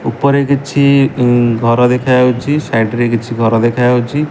ଉପରେ କିଛି ଇଂ ଘର ଦେଖାଯାଉଛି ସାଇଟ୍ ରେ କିଛି ଘର ଦେଖାଯାଉଛି।